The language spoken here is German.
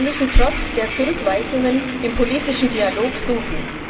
Wir müssen trotz der Zurückweisungen den politischen Dialog suchen.